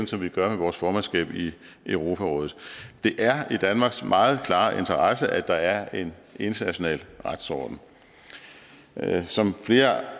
som vi gør med vores formandskab i europarådet det er i danmarks meget klare interesse at der er en international retsorden som flere